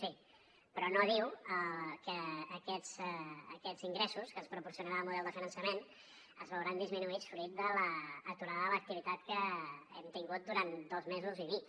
sí però no diu que aquests ingressos que ens proporcionarà el model de finançament es veuran disminuïts fruit de l’aturada de l’activitat que hem tingut durant dos mesos i mig